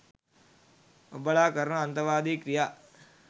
ඔබලා කරන අන්තවාදී ක්‍රියා